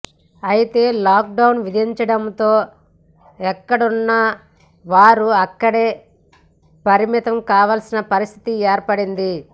అయితే లాక్డౌన్ విధించడంతో ఎక్కడున్నా వారు అక్కడికే పరిమితం కావాల్సిన పరిస్థితి ఏర్పడింది